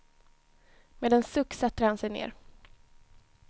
Med en suck sätter han sig ner.